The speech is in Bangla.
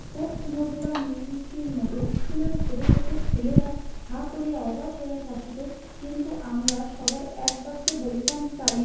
কোফ মাধুরাম ময়ূরকির মতে ইস্কুল এর ছোট ছোট ছেলেরা হা করিয়া অবাক হয়ে থাকিতো কিন্তু আমরা সবাই এক ব্যাক্যে বলিতাম চালিয়া